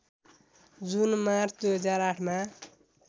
जुन मार्च २००८ मा